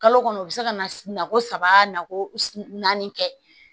Kalo kɔnɔ o bɛ se ka na ko saba nako naani kɛ